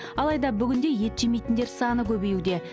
алайда бүгінде ет жемейтіндер саны көбеюде